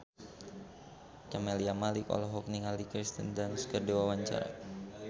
Camelia Malik olohok ningali Kirsten Dunst keur diwawancara